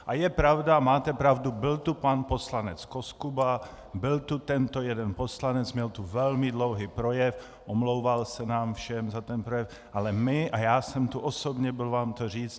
A je pravda, máte pravdu, byl tu pan poslanec Koskuba, byl tu tento jeden poslanec, měl tu velmi dlouhý projev, omlouval se nám všem za ten projev, ale my a já jsem tu osobně byl vám to říct.